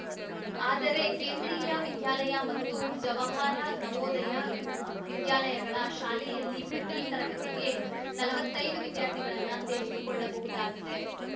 ಆದರೆ ಕೇಂದ್ರೀಯ ವಿದ್ಯಾಲಯ ಮತ್ತು ಜವಾಹರ ನವೋದಯ ವಿದ್ಯಾಲಯಗಳ ಶಾಲೆಯಲ್ಲಿ ಪ್ರತೀ ತರಗತಿಗೆ ನಲವತ್ತೈದು ವಿದ್ಯಾರ್ಥಿಗಳನ್ನು ಸೇರಿಸಿಕೊಳ್ಳಬಹುದಾಗಿದೆ